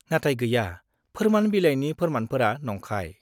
नाथाय, गैया, फोरमान बिलाइनि फोरमानफोरा नंखाय।